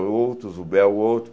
outros, o Bé, o outro.